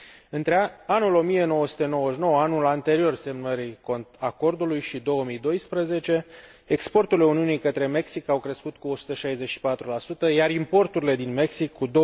Între anul 1999, anul anterior semnării acordului, și 2012, exporturile Uniunii către Mexic au crescut cu 164, iar importurile din Mexic cu